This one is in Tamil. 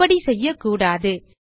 அப்படிச்செய்யக்கூடாது